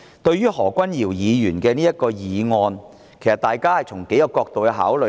對於何君堯議員的議案，大家應該從數個角度考慮。